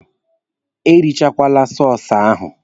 E richakwala sọsụ ahụ!